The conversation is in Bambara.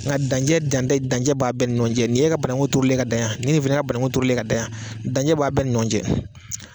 Nka dancɛ dantɛ dancɛ baa bɛ ni ɲɔgɔn cɛ. Nin ye e ka bananku turulen ka danyan ni ye fɛnɛ ka bananku turulen ye ka dayan, dancɛ b'a bɛɛ ni ɲɔgɔn cɛ.